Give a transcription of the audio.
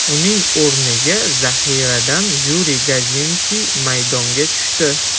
Uning o‘rniga zaxiradan Yuriy Gazinkiy maydonga tushdi.